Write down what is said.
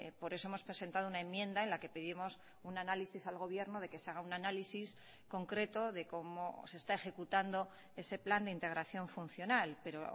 por eso hemos presentado una enmienda en la que pedimos un análisis al gobierno de que se haga un análisis concreto de cómo se está ejecutando ese plan de integración funcional pero